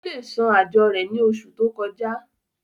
ó le san àjọ rẹ̀ ní oṣù tó kọjá